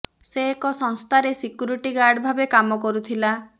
ସେ ଏକ ସଂସ୍ଥାରେ ସିକ୍ୟୁରିଟୀ ଗାର୍ଡ ଭାବେ କାମ କରୁଥିଲା